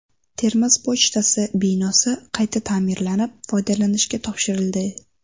Termiz pochtasi binosi qayta ta’mirlanib, foydalanishga topshirildi.